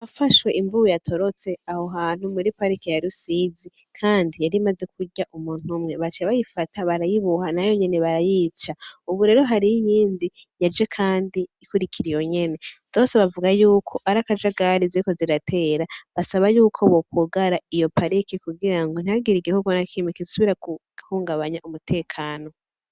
Hafashwe imvubu yatorotse aho hantu muri parike ya Rusizi, kandi yarimaze kurya umuntu umwe, baciye bayifata barayiboha nayo nyene barayica, ubu rero hariyo iyindi yaje kandi ikurikira iyo nyene, zose bavuga yuko ari akajagari ziriko ziratera, basaba yuko bokugara iyo parike kugira ngo ntihagire igikoko na kimwe gisubira guhungabanya umutekano.